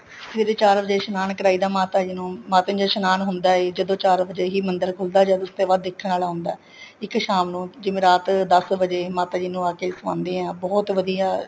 ਸਵੇਰੇ ਚਾਰ ਵਜੇ ਇਸ਼ਨਾਨ ਕਰਾਈਦਾ ਮਾਤਾ ਜੀ ਨੂੰ ਮਾਤਾ ਜੀ ਨੂੰ ਜਦੋਂ ਇਸ਼ਨਾਨ ਹੁੰਦਾ ਜਦੋਂ ਚਾਰ ਵਜ਼ੇ ਹੀ ਮੰਦਿਰ ਖੁੱਲਦਾ ਏ ਉਸ ਤੇ ਬਾਅਦ ਦੇਖਣ ਵਾਲਾ ਹੁੰਦਾ ਇੱਕ ਸ਼ਾਮ ਨੂੰ ਜਿਵੇਂ ਰਾਤ ਦਸ ਵਜੇ ਮਾਤਾ ਜੀ ਨੂੰ ਆਕੇ ਸੁਆਂਦੇ ਏ ਬਹੁਤ ਵਧੀਆ